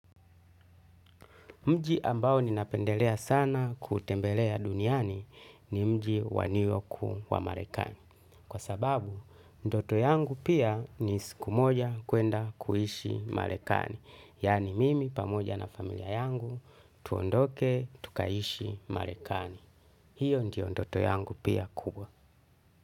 Mji ambao ninapendelea sana kutembelea duniani ni mji wa New York, Marekani. Kwa sababu, ndoto yangu pia ni siku moja kwenda kuishi Marekani. Yaani mimi pamoja na familia yangu tuondoke tukaishi Marekani. Hiyo ndoto yangu pia kubwa.